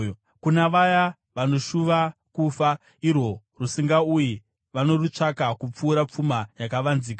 kuna vaya vanoshuva kufa irwo rusingauyi, vanorutsvaka kupfuura pfuma yakavanzika,